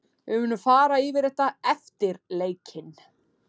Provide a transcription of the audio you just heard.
Við munum fara yfir þetta eftir leikinn.